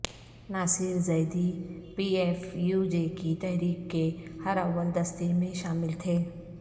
ناصر Zaidi P F U J کی تحریک کے ہراول دستے میں شامل تھے